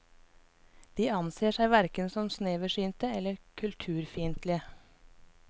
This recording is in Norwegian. De anser seg hverken som sneversynte eller kulturfiendtlige.